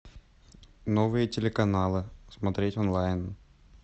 новые телеканалы смотреть онлайн